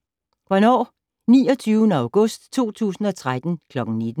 Hvornår: 29. august 2013 kl. 19